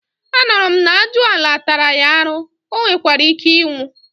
anuru m na ajuala tara ya aru, onwerike inwu